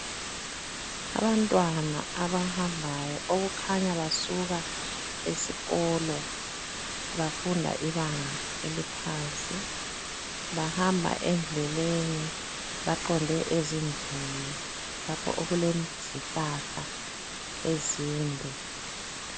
Abantwana abahambayo okukhanya basuka esikolo bafunda ibanga eliphansi, bahamba endleleni baqonde ezindlini lapho okulezihlahla ezinde.